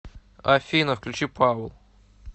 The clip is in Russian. афина включи паул